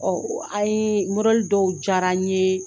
Ɔɔ an ye dɔw jara n ye